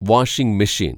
washing മെഷീന്‍